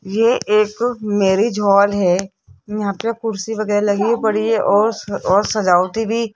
ये एक marriage hall है यहां पे कुर्सी वगैरा लगी पड़ी है और और सजावट भी --